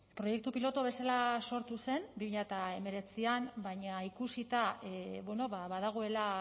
proiektu pilotu bezala sortu zen bi mila hemeretzian baina ikusita badagoela